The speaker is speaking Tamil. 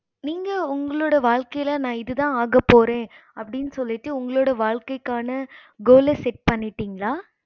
நீங்க உங்களோட வாழ்கையில நான் இது தான் ஆகா போறேன் அப்படின்னு சொல்லிட்டு உங்களோட வாழ்க்கைகான gool set பண்ணிடிங்களா